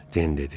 Den dedi.